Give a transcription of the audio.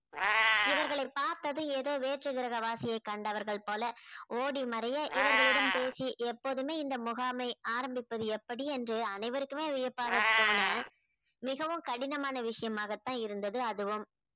இவர்களை பார்த்ததும் ஏதோ வேற்று கிரக வாசியை கண்டவர்கள் போல ஓடி மறைய இவர்களிடம் பேசி எப்போதுமே இந்த முகாமை ஆரம்பிப்பது எப்படி என்று அனைவருக்குமே வியப்பாகத் தோண மிகவும் கடினமான விஷயமாகத்தான் இருந்தது அதுவும்.